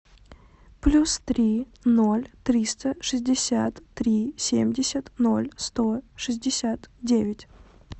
плюс три ноль триста шестьдесят три семьдесят ноль сто шестьдесят девять